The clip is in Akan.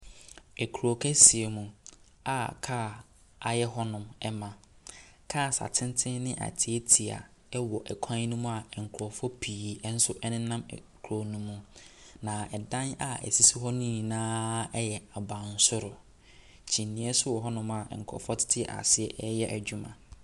Kuro kɛseɛ mu a kaa ayɛ hɔnom ma. Cars atenten ne atiatia wɔ kwan no mu a nkurɔfoɔ pii nso nena kuro no mu, na dan a ɛsisi hɔ no nyinaa yɛ abansoro. Kyiniiɛ nso wɔ hɔnom a nkurɔfoɔ tete aseɛ reyɛ adwuma.